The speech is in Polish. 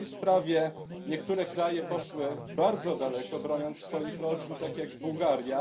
W tej sprawie niektóre kraje poszły bardzo daleko, broniąc swoich rodzin, tak jak Bułgaria.